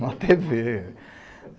Em uma tê vê.